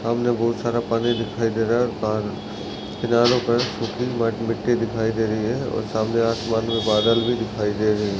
सामने बहुत सारा पानी दिखाई दे रहा है और किनारों पर मिट्टी दिखाई दे रही हैं और सामने आसमान मे बादल भी दिखाई दे रहे हैं।